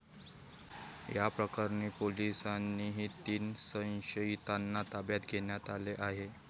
या प्रकरणी पोलिसांनी तीन संशयितांना ताब्यात घेण्यात आले आहे.